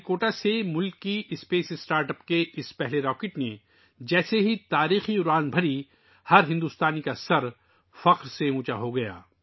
جیسے ہی دیسی خلائی اسٹارٹ اَپ کے اس پہلے راکٹ نے سری ہری کوٹا سے تاریخی اڑان بھری، ہر بھارتی کا سینا فخر پھول گیا